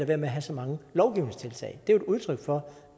være med at have så mange lovgivningstiltag det er jo et udtryk for